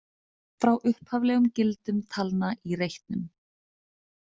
Frá upphaflegum gildum talna í reitnum.